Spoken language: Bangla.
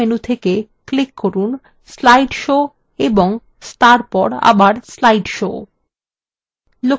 আবার মুখ্য menu থেকে click করুন slide show এবং তারপর আবার slide show